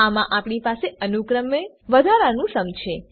આમાં આપણી પાસે અનુક્રમે વધનારું સુમ છે